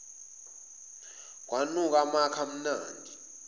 kwanuka amakha amnandi